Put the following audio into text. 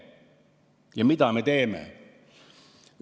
Ja mida me teeme?